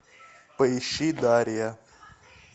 поищи дарья